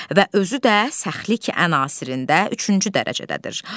Və özü də səxlik ən asirində üçüncü dərəcədədir.